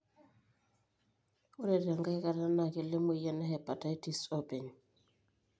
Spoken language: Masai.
ore tenkae kata na kelo emoyian e hepatitis openy.